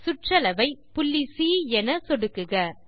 சுற்றளவை புள்ளி சி என சொடுக்குக